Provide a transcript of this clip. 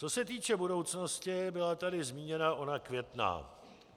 Co se týče budoucnosti, byla tady zmíněna ona Květná.